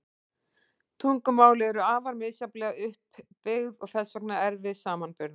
Tungumál eru afar misjafnlega upp byggð og þess vegna erfið samanburðar.